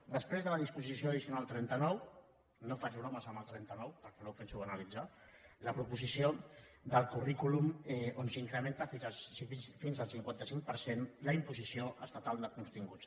després de la disposició addicional trenta nou no faig bromes amb el trenta nou perquè no ho penso analitzar la proposició del currículum on s’incrementa fins al cinquanta cinc per cent la imposició estatal de continguts